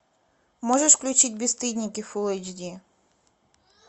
можешь включить бесстыдники фулл эйч ди